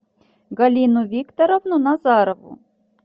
галину викторовну назарову